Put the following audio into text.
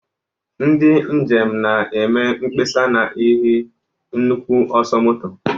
Ndị njem na-eme mkpesa n'ihi nnukwu ọsọ moto